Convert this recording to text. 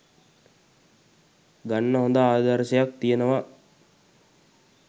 ගන්න හොඳ ආදර්ශයක් තියෙනවා